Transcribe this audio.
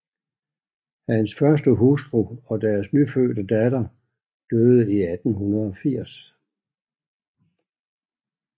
Hans første hustru og deres nyfødte datter døde i 1880